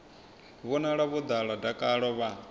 vhonala vho ḓala dakalo vha